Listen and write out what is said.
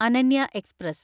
Ananya express